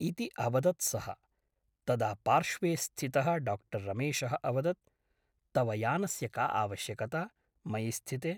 इति अवदत् सः । तदा पार्श्वे स्थितः डाक्टर् रमेशः अवदत् तव यानस्य का आवश्यकता , मयि स्थिते ?